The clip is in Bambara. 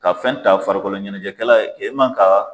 Ka fɛn ta farikolo ɲɛnajɛkɛla e man ka.